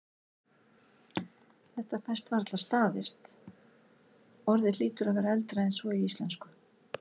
Þetta fæst varla staðist, orðið hlýtur að vera eldra en svo í íslensku.